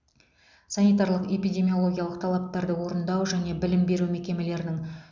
санитарлық эпидемиологиялық талаптарды орындау және білім беру мекемелерінің